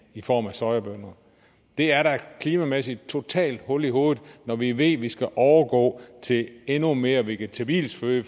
i form af sojabønner det er da klimamæssigt totalt hul i hovedet når vi ved vi skal overgå til endnu mere vegetabilsk føde